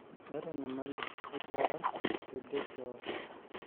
Meeta enyamali ekiara teide teorr